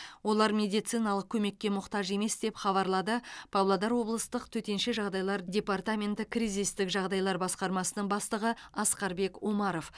олар медициналық көмекке мұқтаж емес деп хабарлады павлодар облыстық төтенше жағдайлар департаменті кризистік жағдайлар басқармасының бастығы асқарбек омаров